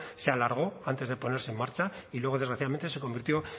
se alargó antes de ponerse en marcha y luego desgraciadamente se convirtió